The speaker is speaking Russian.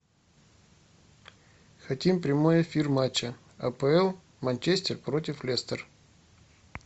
хотим прямой эфир матча апл манчестер против лестер